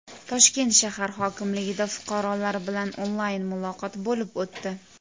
Toshkent shahar hokimligida fuqarolar bilan onlayn muloqot bo‘lib o‘tdi.